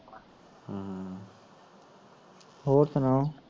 ਹੋਰ ਸੁਣਾ